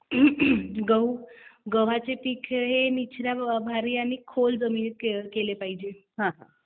गव्हाचे पीक हे निचरा आणि खोल जमिनीत केलं पाहिजे